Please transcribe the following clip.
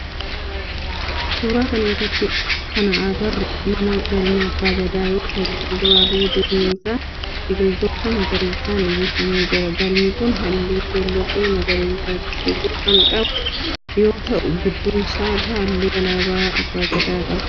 Suuraa kana irratti kana agarru mana galmaa abbaa Gadaa yoo ta'u fuulduraa fi duubni isaa biqiltoota magariisan uwwifamee jira. Galmi kun halluu keelloo fi magariisatti siqu kan qabu yoo ta'u gidduu isaa irraa halluu alaabaa abbaa Gadaa qaba.